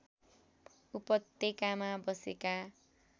उपत्यकामा बसेका